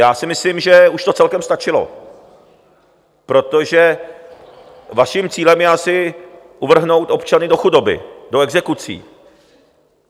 Já si myslím, že už to celkem stačilo, protože vaším cílem je asi uvrhnout občany do chudoby, do exekucí.